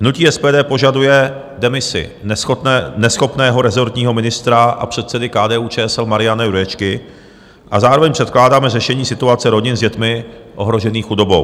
Hnutí SPD požaduje demisi neschopného rezortního ministra a předsedy KDU-ČSL Mariana Jurečky a zároveň předkládáme řešení situace rodin s dětmi ohrožených chudobou.